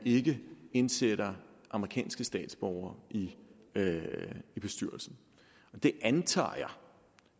ikke indsætter amerikanske statsborgere i bestyrelsen og det antager